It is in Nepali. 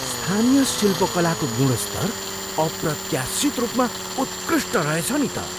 स्थानीय शिल्पकलाको गुणस्तर अप्रत्याशित रूपमा उत्कृष्ट रहेछ नि त।